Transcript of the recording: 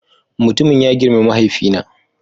Mutumun ya girme mahaifina